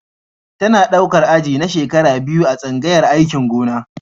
Tana ɗaukar aji na shekara biyar a tsangayar aikin gona.